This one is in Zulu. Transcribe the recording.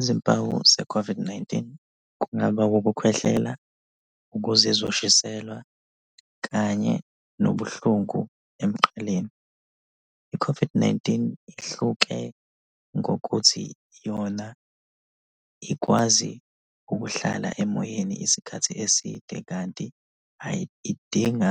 Izimpawu ze-COVID-19 kungaba ukukhwehlela, ukuzizwa ushiselwa kanye nobuhlungu emqaleni. I-COVID-19 ihluke ngokuthi yona ikwazi ukuhlala emoyeni isikhathi eside kanti idinga